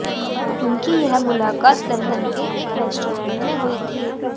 उनकी यह मुलाकात लंदन के एक रेस्टोरेंट में हुई थी